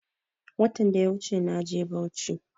Watan daya wuche naje bauchi